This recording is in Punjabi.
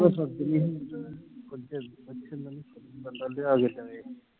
ਉਹ ਅੱਛਾ ਬੰਦਾ ਹੁਣ ਲਿਆ ਕੇ ਦੇਵੇ